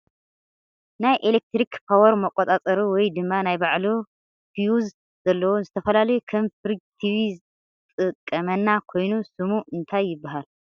ናይ ኢሌክትሪክ ፓወር መቆፃፀሪ ወይ ድማ ናይ ባዕሉ ፊውዝ ዘለዎ ንዝተፈላለዩ ከም ፍርጅ ቲቪ ዝጠቅመና ኮይኑ ስሙ እንታይ ይበሃል ?